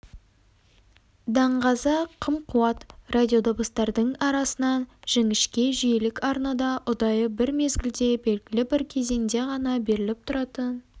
даңғаза қым-қуыт радиодыбыстардың арасынан жіңішке-жиілік арнада ұдайы бір мезгілде белгілі бір кезеңде ғана беріліп тұратын